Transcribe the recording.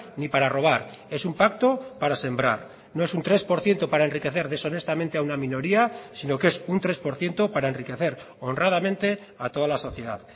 ni para robar es un pacto para sembrar no es un tres por ciento para enriquecer deshonestamente a una minoría sino que es un tres por ciento para enriquecer honradamente a toda la sociedad